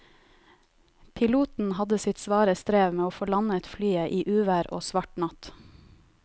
Piloten hadde sitt svare strev med å få landet flyet i uvær og svart natt.